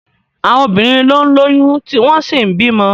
Àwọn obìnrin ló ń lóyún tí wọ́n sì ń bímọ.